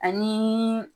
Ani